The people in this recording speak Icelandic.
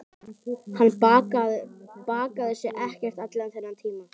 Hann baðaði sig ekkert allan þennan tíma.